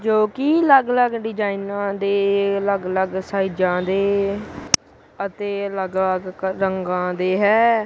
ਜੋਕੀ ਅਲੱਗ ਅਲੱਗ ਡਿਜ਼ਾਈਨਾਂ ਦੇ ਅਲੱਗ ਅਲੱਗ ਸਾਇਜਾਂ ਦੇ ਅਤੇ ਅਲੱਗ ਅਲੱਗ ਕ ਰੰਗ ਦੇ ਹੈ।